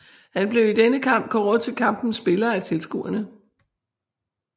Han blev i denne kamp kåret til kampens spiller af tilskuerne